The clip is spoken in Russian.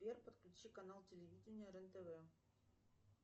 сбер подключи канал телевидения рен тв